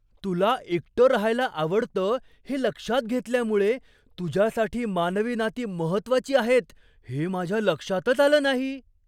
तुला एकटं राहायला आवडतं हे लक्षात घेतल्यामुळे, तुझ्यासाठी मानवी नाती महत्त्वाची आहेत हे माझ्या लक्षातच आलं नाही.